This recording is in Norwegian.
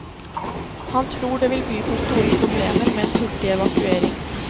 Han tror det vil by på store problemer med en hurtig evakuering.